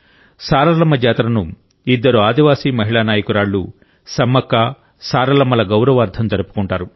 సారలమ్మ జాతరను ఇద్దరు ఆదివాసీ మహిళా నాయకురాళ్లు సమ్మక్క సారలమ్మల గౌరవార్థం జరుపుకుంటారు